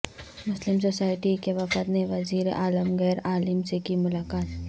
مسلم society کے وفد نے وزیر عالمگیر عالم سے کی ملاقات